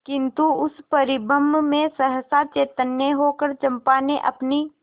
किंतु उस परिरंभ में सहसा चैतन्य होकर चंपा ने अपनी